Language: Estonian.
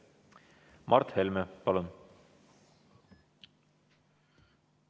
Mart Helme, palun!